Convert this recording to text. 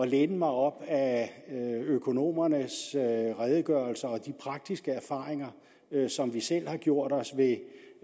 læne mig op ad økonomernes redegørelser og de praktiske erfaringer som vi selv har gjort os